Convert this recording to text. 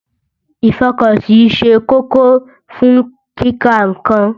Ìfọkànsí ṣe kókó fún kíka nnkan.